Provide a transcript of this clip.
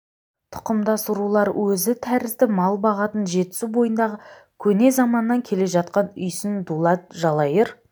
тұқымдас рулар өзі тәрізді мал бағатын жетісу бойындағы көне заманнан келе жатқан үйсін дулат жалайыр